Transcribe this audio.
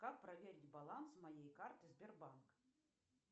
как проверить баланс моей карты сбербанк